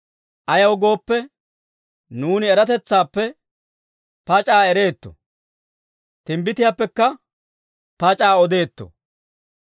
Ayaw gooppe, nuuni eratetsaappe pac'aa ereetto; timbbitiyaappekka pac'aa odeetto.